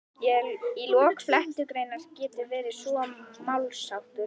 Í lok flettugreinar getur svo verið málsháttur